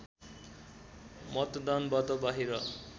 मतदानबाट बाहिर